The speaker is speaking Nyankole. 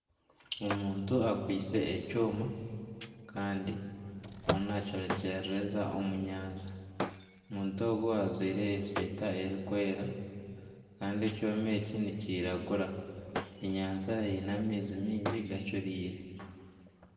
Omuntu akwiitse ekyooma Kandi ariyo nakyorekyeza omu nyanja. Omuntu ogu ajwaire eshweeta erikwera kandi ekyooma eki ni kiragura. Enyanja eine amaizi mingi gacuriire.